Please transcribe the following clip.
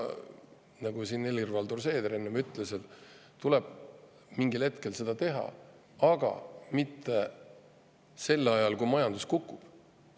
Nagu Helir-Valdor Seeder enne ütles, tuleb mingil hetkel seda teha, aga mitte sel ajal, kui majandus kukub.